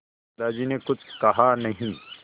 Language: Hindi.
दादाजी ने कुछ कहा नहीं